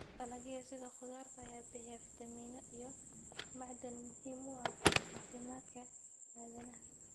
Dalagyada sida khudaarta ayaa bixiya fiitamiino iyo macdan muhiim u ah caafimaadka aadanaha.